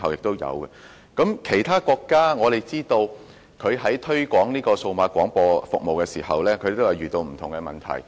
我們知道，其他國家在推廣數碼廣播服務時也遇到不同問題。